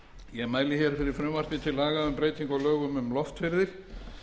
ég mæli hér fyrir frumvarpi til laga um breytingu á lögum um loftferðir